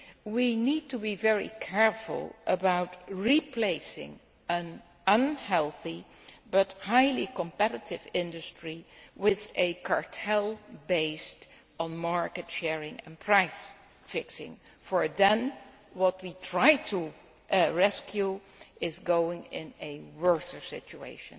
We need to be very careful about replacing an unhealthy but highly competitive industry with a cartel based on market sharing and price fixing, as what we try to rescue will end up in a worse situation.